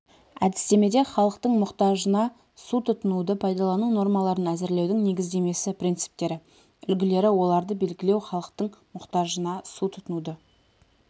әдістемеде халықтың мұқтажына су тұтынуды пайдалану нормаларын әзірлеудің негіздемесі принциптері үлгілері оларды белгілеу халықтың мұқтажына су тұтынуды